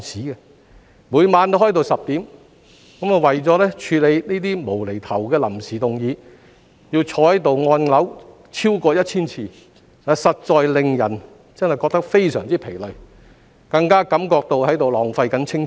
我們每晚開會都開到晚上10時，為了處理這些"無厘頭"的臨時動議，更要坐在這裏按鈕超過千次，實在令人感到非常疲累，更加感覺到是在浪費青春。